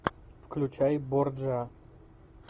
включай борджиа